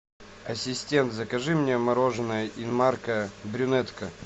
ассистент закажи мне мороженое инмарко брюнетка